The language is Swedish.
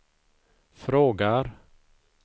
frågar